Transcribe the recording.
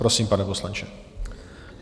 Prosím, pane poslanče.